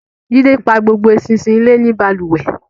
Jídé pa gbogbo ẹṣinṣin ilé ní balùwẹ̀